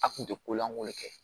A kun tɛ kolankolon kɛ